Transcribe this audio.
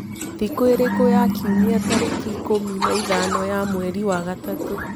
thĩkũĩrĩkũ ya kĩumĩa tarĩkĩ ikumi na ithano ya mwerĩ wa gatatu